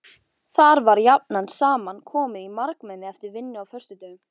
Þar var jafnan saman komið margmenni eftir vinnu á föstudögum.